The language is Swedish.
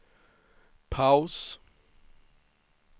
paus